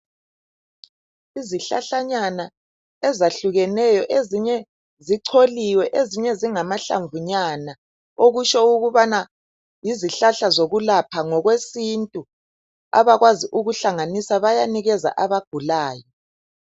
Izihlahlanyana ezahlukeneyo ezinye zicholiwe, ezinye zingamahlamvu nyana okutsho ukubana yizihlahla zokulapha ngokwesintu, abakwazi ukuhlanganisa bayanikeza abagulayo